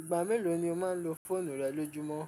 Ìgbà mélòó ni o máa ń lo fóònù rẹ lójúmọ́?